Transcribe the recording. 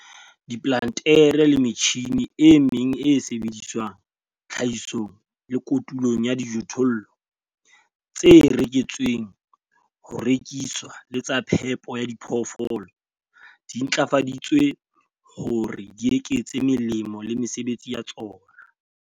Diplantere le metjhine e meng e sebediswang tlhahisong le kotulong ya dijothollo, tse reretsweng ho rekiswa le tsa phepo ya diphoofolo, di ntlafaditswe hore di eketse melemo le mesebetsi ya tsona.